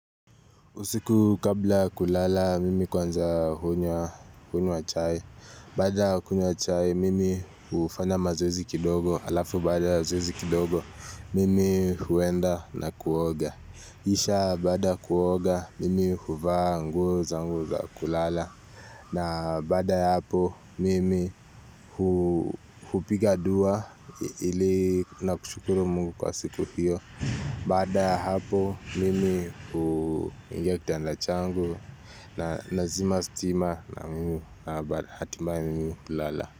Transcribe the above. Usiku kabla ya kulala, mimi kwanza hunywa chai. Baada ya kunywa chai, mimi hufanya mazoezi kidogo. Alafu baada ya zoezi kidogo, mimi huenda na kuoga. Kisha baada ya kuoga, mimi huvaa nguo zangu za kulala. Na baada ya hapo, mimi hupiga dua ili na kushukuru Mungu kwa siku hiyo. Baada ya hapo mimi huingia kitanda changu na nazima stima na mimi hatimaye mimi hulala.